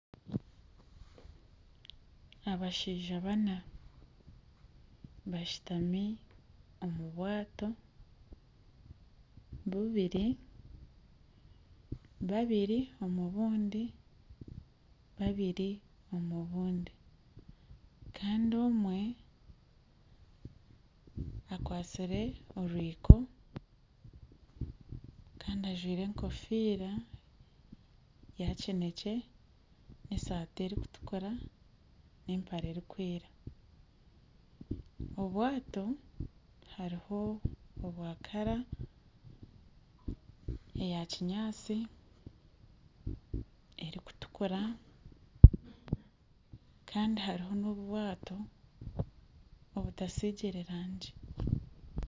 Abashaija bana bashutami omu bwato bubiri, babiri omu bundi, babiri omu bundi kandi omwe akwasire orwiko kandi ajwire enkofiira ya kineekye esaati erikutuura n'empare erikwera obwato hariho obwa kara eyakinyaatsi, erikutukura kandi hariho n'obwato obutasigire rangi